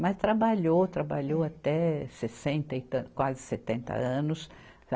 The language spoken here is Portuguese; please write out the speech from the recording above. Mas trabalhou, trabalhou até sessenta e tan, quase setenta anos.